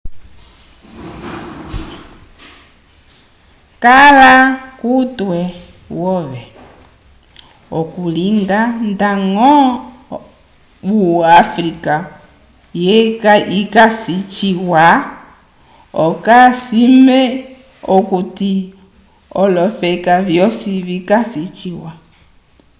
kala kutwe wove okulinga ndaño o africa yikasi ciwa okasime okuti olofeka vyosi vikasi ciwa